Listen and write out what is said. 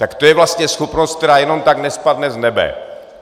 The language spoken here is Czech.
Tak to je vlastně schopnost, která jenom tak nespadne z nebe.